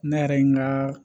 Ne yɛrɛ ye n ka